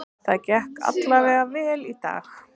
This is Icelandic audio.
Það gekk alla vega vel í dag.